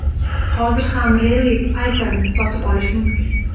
Hozir ham Rally Fighter’ni sotib olish mumkin.